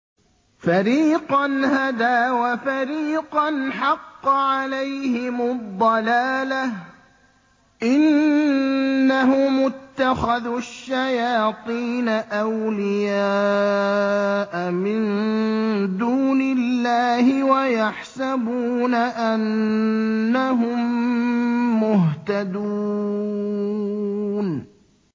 فَرِيقًا هَدَىٰ وَفَرِيقًا حَقَّ عَلَيْهِمُ الضَّلَالَةُ ۗ إِنَّهُمُ اتَّخَذُوا الشَّيَاطِينَ أَوْلِيَاءَ مِن دُونِ اللَّهِ وَيَحْسَبُونَ أَنَّهُم مُّهْتَدُونَ